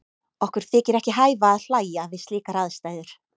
Okkur þykir ekki hæfa að hlæja við slíkar aðstæður.